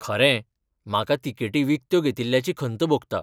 खरें, म्हाका तिकेटी विकत्यो घेतिल्ल्याची खंत भोगता.